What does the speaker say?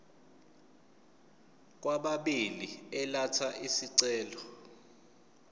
kwababili elatha isicelo